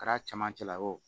Kɛra cɛmancɛ la ye o